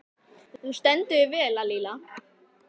Þú stendur þig vel, Lalíla!